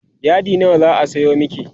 yadi nawa zaa Sayo maki?